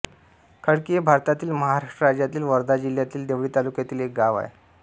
खडकी हे भारतातील महाराष्ट्र राज्यातील वर्धा जिल्ह्यातील देवळी तालुक्यातील एक गाव आहे